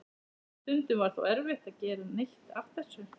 Stundum var þó erfitt að gera neitt af þessu.